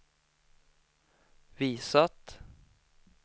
visat